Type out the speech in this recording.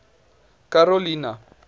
karolina